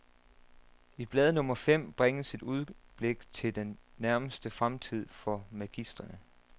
I blad nummer fem bringes et udblik til den nærmeste fremtid for magistrene.